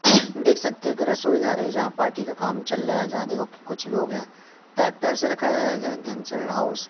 देख सकते हो की रसोई घर है जहां पार्टी का काम चल रहा है। जहां देखो कि कुछ लोग हैं। टैक्टर रखाया गया है हाउस --